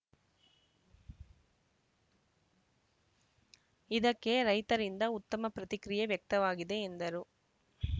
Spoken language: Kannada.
ಇದಕ್ಕೆ ರೈತರಿಂದ ಉತ್ತಮ ಪ್ರತಿಕ್ರಿಯೆ ವ್ಯಕ್ತವಾಗಿದೆ ಎಂದರು